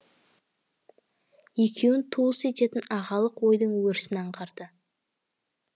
екеуін туыс ететін ағалық ойдың өрісін аңғарды